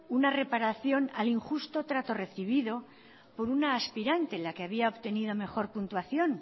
una reparación al injusto trato recibido por una aspirante la que había obtenido mejor puntuación